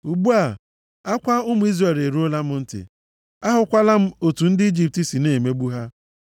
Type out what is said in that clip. Ugbu a, akwa ụmụ Izrel eruola m ntị, ahụkwala m otu ndị Ijipt si na-emegbu ha.